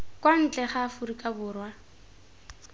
kwa ntle ga aforika borwa